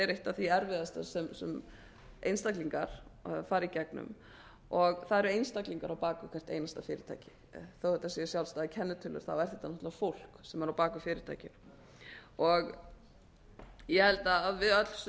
er eitt af því erfiðasta sem einstaklingar hafa farið í gegnum og það eru einstaklingar og bak við hvert einasta fyrirtæki án þetta séu sjálfstæðar kennitölur er þetta náttúrlega fólk sem er á bak við fyrirtækin ég held að við öll sem